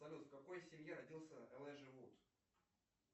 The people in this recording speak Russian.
салют в какой семье родился элайджа вуд